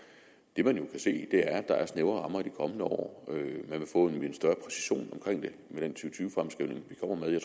det man jo kan se er at der er snævre rammer i de kommende år man vil